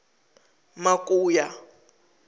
makuya